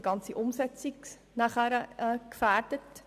Die gesamte Umsetzung wäre dadurch natürlich gefährdet.